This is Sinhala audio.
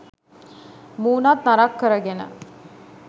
මුහුණත් නරක් කරගෙන